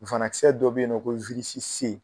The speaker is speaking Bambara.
Banakisɛ dɔ be yen nɔn ko